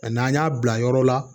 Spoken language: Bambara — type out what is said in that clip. Ani n'an y'a bila yɔrɔ la